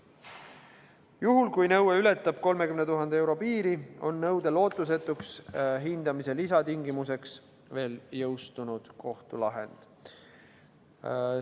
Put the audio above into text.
Juhul kui nõue ületab 30 000 euro piiri, on nõude lootusetuks hindamise lisatingimuseks veel jõustunud kohtulahend.